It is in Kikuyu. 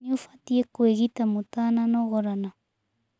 Nĩ ũbatiĩ kũĩgita mũtananogorana.